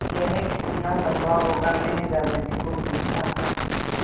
यह कितना लम्बा होगा मैने दादाजी को पूछा